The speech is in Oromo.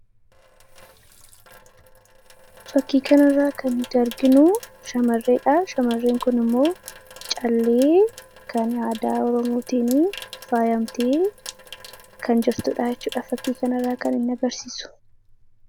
Fakkii kana irraa kan nuti arginu shamarreedha shamarreen kun immoo callee kan aadaa oromootiin faayamtee kan jirtudha jechuudha fakkii kana irraa kan inni agarsiisu